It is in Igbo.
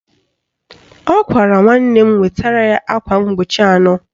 Ọ gwara nwanne m wetara ya akwa mkpuchi anọ